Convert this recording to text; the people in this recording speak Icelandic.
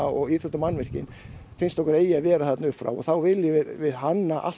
og íþróttamannvirkin finnst okkur eiga að vera þarna upp frá og þá viljum við hanna allt